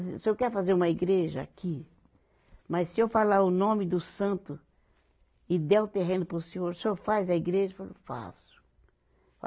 O senhor quer fazer uma igreja aqui, mas se eu falar o nome do santo e der o terreno para o senhor, o senhor faz a igreja, ele falou, faço.